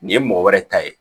Nin ye mɔgɔ wɛrɛ ta ye